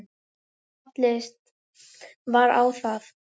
Fallist var á það